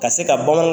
Ka se ka bamanan